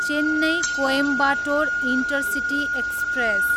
Chennai, Coimbatore intercity express